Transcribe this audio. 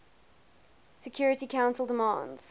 security council demands